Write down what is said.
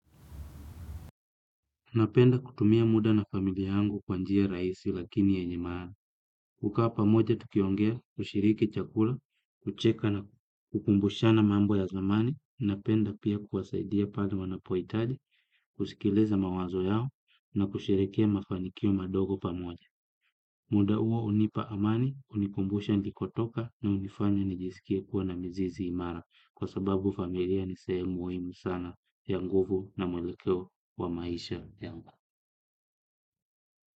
Napenda kutumia muda na familia yangu kwa njia rahisi lakini yenye maana. Kukaa pamoja tukiongea, kushiriki chakula, kucheka na kukumbushana mambo ya zamani. Napenda pia kuwasaidia pale wanapohitaji, kusikiliza mawazo yao na kusherehekea mafanikio madogo pamoja. Muda huo hunipa amani, hunikumbusha nilikotoka na hunifanya nijisikie kuwa na mizizi imara. Kwa sababu familia ni sehemi muhimu sana ya nguvu na mwelekeo wa maisha.